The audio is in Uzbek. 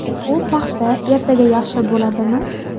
U paxta ertaga yaxshi bo‘ladimi?